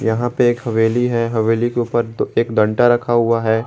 यहां पे एक हवेली हे हवेली के ऊपर दो एक डंटा रखा हुआ है।